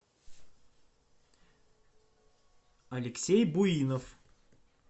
алексей буинов